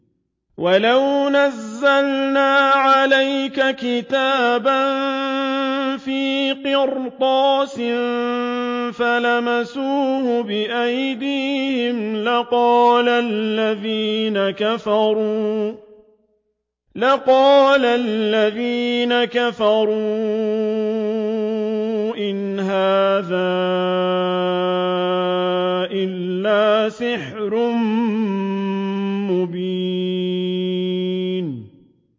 وَلَوْ نَزَّلْنَا عَلَيْكَ كِتَابًا فِي قِرْطَاسٍ فَلَمَسُوهُ بِأَيْدِيهِمْ لَقَالَ الَّذِينَ كَفَرُوا إِنْ هَٰذَا إِلَّا سِحْرٌ مُّبِينٌ